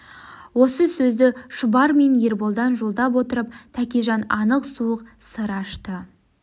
осы сөзді шұбар мен ерболдан жолдап отырып тәкежан анық суық сыр ашты